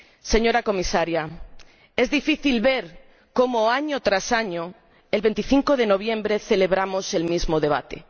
Señora Comisaria, es difícil ver cómo, año tras año, el 25 de noviembre celebramos el mismo debate.